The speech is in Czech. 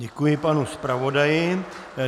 Děkuji panu zpravodaji.